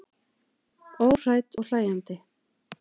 Óhrædd og hlæjandi.